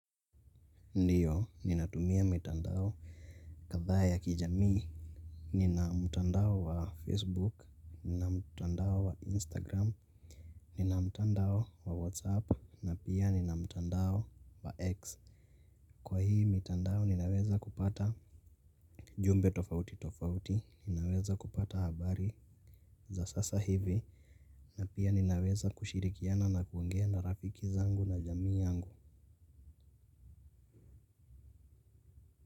Ndiyo, ninatumia mitandao kadhaa ya kijamii. Ninamtandao wa facebook, ninamtandao wa instagram, ninamtandao wa whatsapp na pia ninamtandao wa x. Kwa hii mitandao ninaweza kupata, jumbe tofauti tofauti, ninaweza kupata habari za sasa hivi. Na pia ninaweza kushirikiana na kuongea na rafiki zangu na jamii yangu.